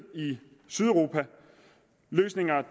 i sydeuropa løsninger